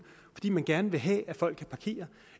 fordi man gerne vil have at folk kan parkere